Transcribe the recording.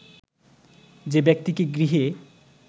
যে ব্যক্তিকে গৃহে